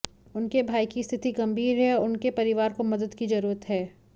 उनके भाई की स्थिति गंभीर है और उनके परिवार को मदद की जरूरत है